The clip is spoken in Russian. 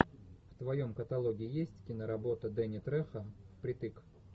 в твоем каталоге есть киноработа дэнни трехо впритык